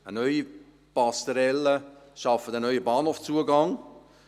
Eine neue Passerelle schafft einen neuen Bahnhofzugang.